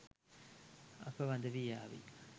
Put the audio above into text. අප වඳවී යාවි